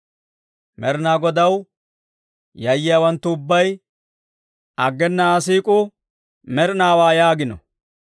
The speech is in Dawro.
Med'inaa Godaw yayyiyaawanttu ubbay, «Aggena Aa siik'uu med'inaawaa» yaagino.